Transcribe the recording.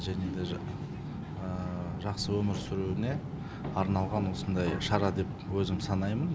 және де жақсы өмір сүруіне арналған осындай шара деп өзім санаймын